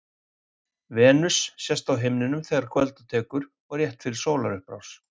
Venus sést best á himninum þegar kvölda tekur og rétt fyrir sólarupprás.